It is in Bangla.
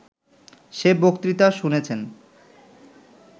সে বক্তৃতা শুনেছেন